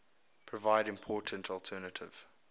provide important alternative